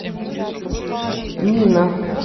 нина